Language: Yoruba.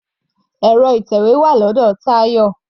Ẹ̀rọ ìtẹ̀wé wà lọ́dọ̀ Tayọ.